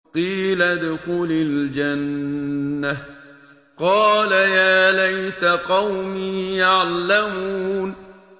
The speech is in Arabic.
قِيلَ ادْخُلِ الْجَنَّةَ ۖ قَالَ يَا لَيْتَ قَوْمِي يَعْلَمُونَ